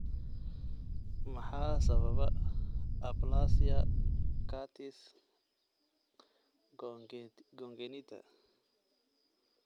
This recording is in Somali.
Maxaa sababa aplasia cutis congenita?